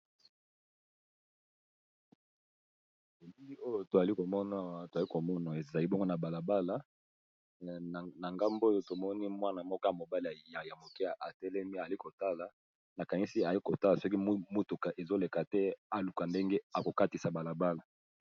Na bilili oyo tozali komona ezali na balabala na ngambo oyo namoni mwana mobali ya muke azotala ndenge ako katisa balabala.